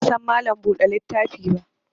Ni ban san Mallam buɗe littafi ba